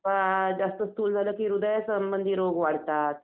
अ जास्त स्थूल झालं की हृदयासंबंधी रोग वाढतात